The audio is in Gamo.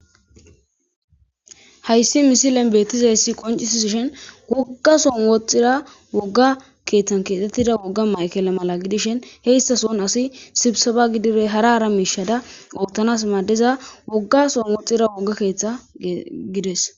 Hay misile betizayisi qoncisishini wogga sohoni wothiza wogga kethani kexetidda mayikele mala gidishin iza sooni assi sibisaba gididde hara hara mishaza othanawu madiza wogga sooni wooga ketha gidesi.